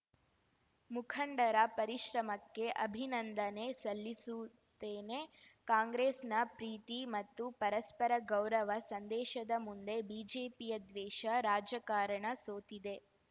ಮುಖಂಡರ ಪರಿಶ್ರಮಕ್ಕೆ ಅಭಿನಂದನೆ ಸಲ್ಲಿಸುತ್ತೇನೆ ಕಾಂಗ್ರೆಸ್‌ನ ಪ್ರೀತಿ ಮತ್ತು ಪರಸ್ಪರ ಗೌರವ ಸಂದೇಶದ ಮುಂದೆ ಬಿಜೆಪಿಯ ದ್ವೇಷ ರಾಜಕಾರಣ ಸೋತಿದೆ